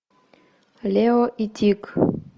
лео и тиг